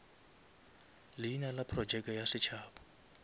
leina la projeke ya setšhaba